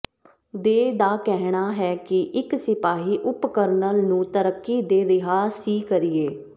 ਦੇ ਦਾ ਕਹਿਣਾ ਹੈ ਕਿ ਇੱਕ ਸਿਪਾਹੀ ਉਪ ਕਰਨਲ ਨੂੰ ਤਰੱਕੀ ਦੇ ਰਿਹਾ ਸੀ ਕਰੀਏ